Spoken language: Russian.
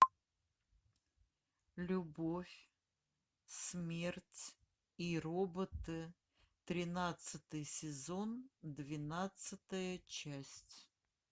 любовь смерть и роботы тринадцатый сезон двенадцатая часть